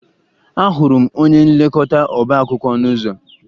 Ahụrụ m onye nlekọta ọbaakwụkwọ n'ụzọ